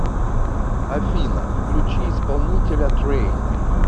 афина включи исполнителя трэйн